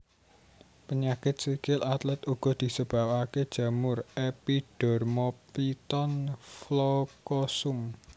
Penyakit sikil atlet uga disebabaké jamur Epidermophyton floocosum